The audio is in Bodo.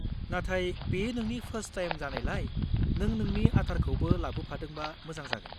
नाथाय बेयो नोंनि फार्स्ट टाइम जानायलाय, नों नोंनि आधारखौबो लाबोफादोंबा मोजां जागोन।